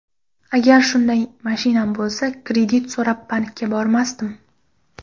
Agar shunday mashinam bo‘lsa, kredit so‘rab bankka bormasdim.